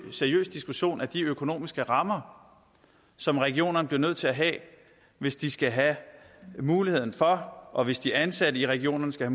seriøs diskussion af de økonomiske rammer som regionerne bliver nødt til at have hvis de skal have muligheden for og hvis de ansatte i regionerne skal